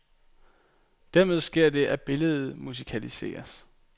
Dermed sker der det, at billedet musikaliseres.